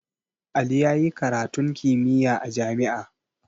Ali yayi karatun kimiyya a jami'a